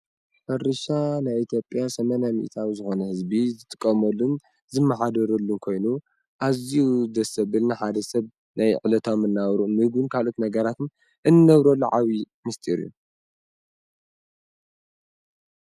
ሕርሻ ናይ ኢትዮጵያ 80 ሚኢታዊ ዝኮነ ህዝቢ ዝጥቀመሉን ዝመሓደረሉን ኮይኑ አዝዩ ደስ ዘብል ንሓደ ሰብ ናይ ዕለታዊ መነባብርኦምን ካልኦት ነገራትን እንነብረሉ ዓብይ ሚስጢር እዩ፡